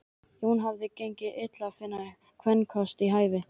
Jóni hafði gengið illa að finna sér kvenkost við hæfi.